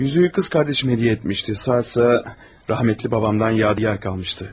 Üzüyü qız qardaşım hədiyyə etmişdi, saat isə rəhmətli babamdan yadigar qalmışdı.